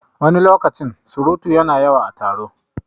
Wani lokacin surutu yana yawa a taro